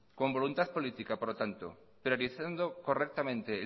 con voluntad política por lo tanto priorizando correctamente